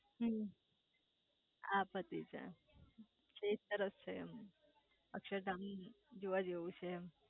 હમ્મ હા પતિ જાય એ સરસ છે એમ અક્ષરધામ જોવા જેવું છે એમ